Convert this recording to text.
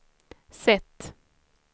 sätt